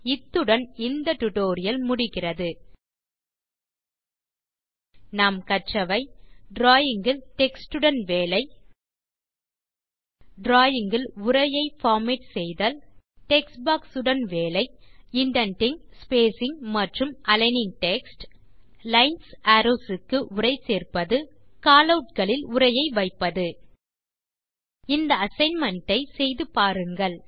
இத்துடன் இந்த டியூட்டோரியல் முடிகிறது இந்த டியூட்டோரியல் லில் கற்றவை டிராவிங் இல் டெக்ஸ்ட் உடன் வேலை டிராவிங் இல் உரையை பார்மேட் செய்தல் டெக்ஸ்ட் பாக்ஸ் உடன் வேலை இண்டென்டிங் ஸ்பேசிங் மற்றும் அலிக்னிங் டெக்ஸ்ட் லைன்ஸ் அரோவ்ஸ் க்கு உரை சேர்ப்பது காலவுட் களில் உரையை வைப்பது இந்த அசைன்மென்ட் ஐ நீங்களே செய்து பாருங்கள்